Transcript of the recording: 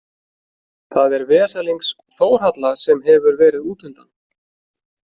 Það er vesalings Þórhalla sem hefur verið útundan.